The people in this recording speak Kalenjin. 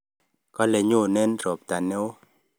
Kalei nyonei robtaneo